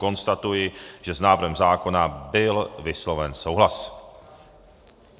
Konstatuji, že s návrhem zákona byl vysloven souhlas.